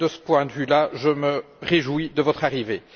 De ce point de vue là, je me réjouis de votre arrivée.